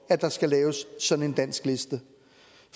at der skal laves sådan en dansk liste